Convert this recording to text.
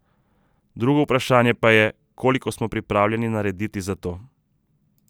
Drugo vprašanje pa je, koliko smo pripravljeni narediti za to.